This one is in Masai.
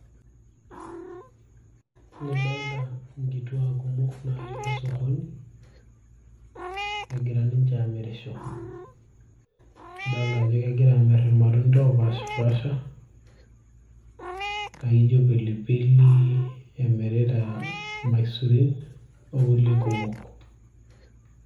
Adolita inkituak kumok natii osokoni negira ninche aamirisho adolita ajo kegira aamirr irmatunda oopashipasha laijo pilipili emirita ilmaisurin o kulie kumok.